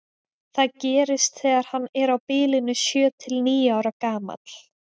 það gerist þegar hann er á bilinu sjö til níu ára gamall